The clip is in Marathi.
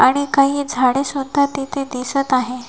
आणि काही झाडे सुद्धा तिथे दिसत आहे.